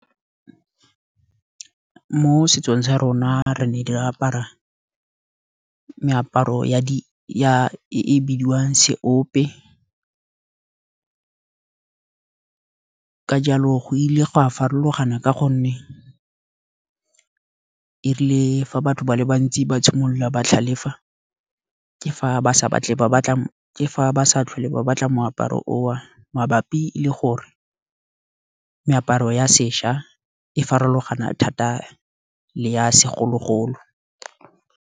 Mo setsong sa rona re ne re apara meaparo e e bidiwang seope. Ka jalo go ile go a farologana ka gonne erile fa batho ba le bantsi ba simolola ba tlhalefa, ke fa ba sa tlhole ba batla moaparo o, mabapi le gore meaparo ya sešwa e farologana thata le ya segologolo.